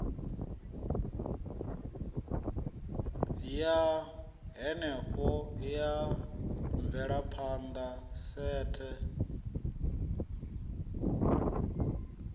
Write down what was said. ya henefho ya mvelaphanda sethe